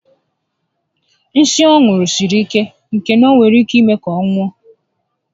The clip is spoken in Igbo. Nsí ọ ṅụru siri ike na o nwere ike ime ka ọ nwụọ